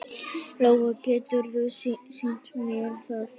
Lóa: Geturðu sýnt mér það?